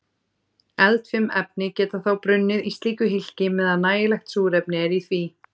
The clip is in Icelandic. Eldfim efni geta þá brunnið í slíku hylki meðan nægilegt súrefni er í því.